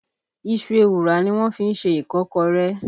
Iṣu ewùrà ni wọ́n fí ń ṣe Ìkọ́kọrẹ́